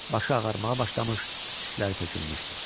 Başı ağarmağa başlamış, tükləri tökülmüşdü.